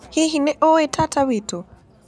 Hihi nĩ ũĩ tata witũ?